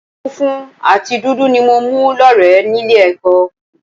Funfun àti dúdú ni mo mú lọ́rẹ̀ẹ́ nílé ẹ̀kọ́